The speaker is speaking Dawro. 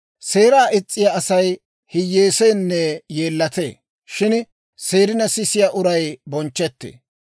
Seeraa is's'iyaa Asay hiyyeeseenne yeellatee; shin seerina sisiyaa uray bonchchetee.